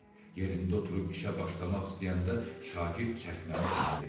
Yerində oturub işə başlamaq istəyəndə şagird çəkməni ona verirdi.